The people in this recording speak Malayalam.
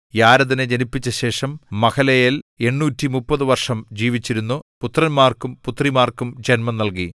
യാരെദിനെ ജനിപ്പിച്ച ശേഷം മഹലലേൽ 830 വർഷം ജീവിച്ചിരുന്നു പുത്രന്മാർക്കും പുത്രിമാർക്കും ജന്മം നൽകി